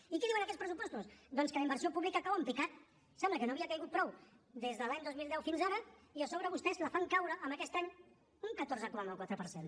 i què diuen aquests pressupostos doncs que la inversió pública cau en picat sembla que no havia caigut prou des de l’any dos mil deu fins ara i a sobre vostès la fan caure aquest any un catorze coma quatre per cent